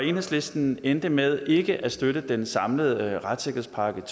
enhedslisten endte med ikke at støtte den samlede retssikkerhedspakke